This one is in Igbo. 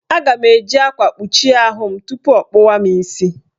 Ọ ga-eji akwa kpuchi ahụ m tupu ọ kpụwa mụ isi.